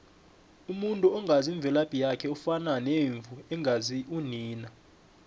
umuntu ongazi imvelaphi yakhe ufana nemvu engazi unina